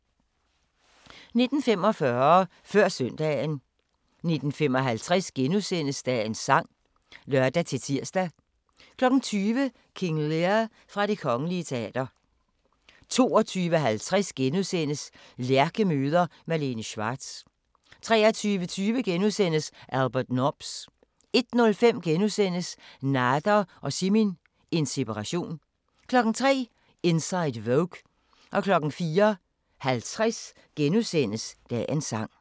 19:45: Før Søndagen 19:55: Dagens sang *(lør-tir) 20:00: King Lear fra Det Kgl. Teater 22:50: Lærke møder Malene Schwartz * 23:20: Albert Nobbs * 01:05: Nader og Simin – en separation * 03:00: Inside Vogue 04:50: Dagens sang *